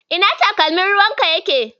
Ina takalmin ruwanka yake?